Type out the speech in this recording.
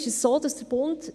Dort ist es so, dass der Bund